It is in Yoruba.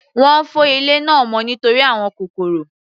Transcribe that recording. Wọ́n fọ ilé náà mọ́ nítorí àwọn kòkòrò.